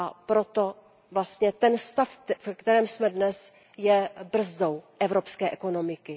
Proto vlastně ten stav, ve kterém jsme dnes, je brzdou evropské ekonomiky.